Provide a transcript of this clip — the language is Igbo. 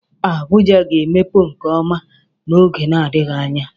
Abuja ga-emepe nke ọma n'oge n'adịghị anya.